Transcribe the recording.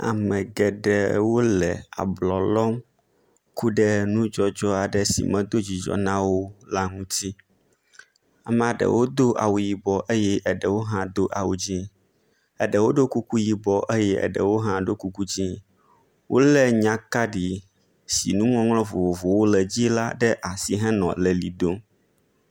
Amegeɖewo le ablɔlɔm kuɖe nudzɔdzɔ si medó dzidzɔ nawó la ŋuti amaɖewo dó awu yibɔ eye eɖewo hã dó awu dzĩ, eɖewo ɖo kuku yibɔ eye eɖewo hã ɖo kuku dzĩ ,wóle nyakaɖi si nuŋɔŋlɔ vovovowo le dzi la ɖe asi henɔ lelidom